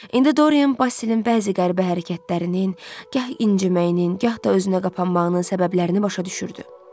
İndi Dorian Basilin bəzi qəribə hərəkətlərinin, gah inciməyinin, gah da özünə qapanmağının səbəblərini başa düşürdü.